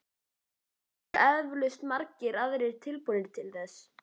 En það eru eflaust margir aðrir tilbúnir til þess.